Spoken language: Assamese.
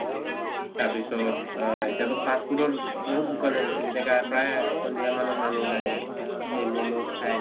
তাৰপিছত আ এতিয়া তো fast food ৰ বহুত দোকান হৈছে , যেনেকা প্ৰায় সন্ধিয়া মানত মানুহ ওলাই যায়, সেই comes খায় ।